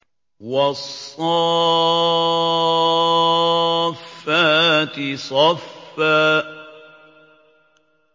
وَالصَّافَّاتِ صَفًّا